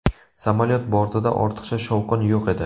Samolyot bortida ortiqcha shovqin yo‘q edi.